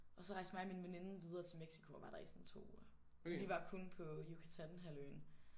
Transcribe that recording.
Og så rejste mig og min veninde videre til Mexico og var der i sådan 2 uger. Vi var kun på Yucatán-halvøen